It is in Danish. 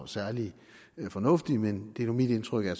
særlig fornuftig men det er nu mit indtryk at